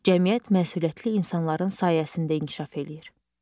Cəmiyyət məsuliyyətli insanların sayəsində inkişaf eləyir.